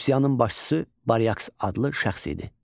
Üsyanın başçısı Baryaks adlı şəxs idi.